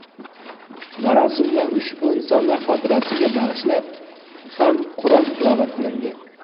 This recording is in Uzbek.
Marosimda ushbu insonlar xotirasiga bag‘ishlab ham Qur’on tilovat qilindi.